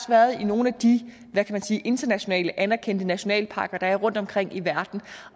været nogle af de internationalt anerkendte nationalparker der er rundtomkring i verden